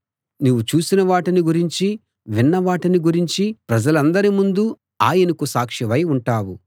నీవు చూసిన వాటిని గురించీ విన్న వాటిని గురించీ ప్రజలందరి ముందూ ఆయనకు సాక్షివై ఉంటావు